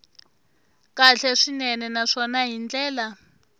kahle swinene naswona hi ndlela